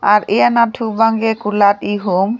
ar eh anat thu bangke kulat ehum.